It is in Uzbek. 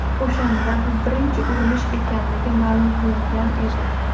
O‘shanda bu birinchi urinish ekanligi ma’lum qilingan edi.